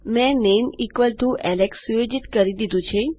મેં નામે Alex set કરી દીધું છે